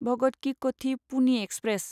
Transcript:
Bhagat ki Kothi Pune express